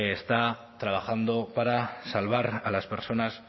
está trabajando para salvar a las personas